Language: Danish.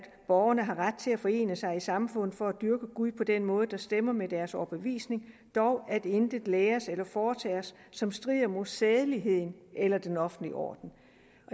borgerne har ret til at forene sig i samfundet for at dyrke gud på den måde der stemmer med deres overbevisning dog at intet læres eller foretages som strider mod sædeligheden eller den offentlige orden